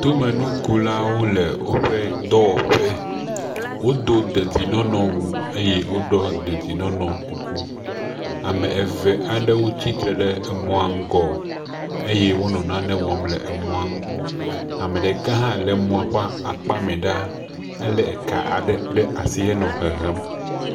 Tomenukulawo le wóƒe dɔwɔƒe wodó dedinɔnɔ wu eye wodó dedinɔnɔ kuku ame eve aɖewo tsitsre ɖe emɔa ŋgɔ eye wónɔ nane wɔm le emɔa ŋu ameɖeka hã le mɔa ƒe akpa mɛɖa ele ka aɖe ɖe asi henɔ hehem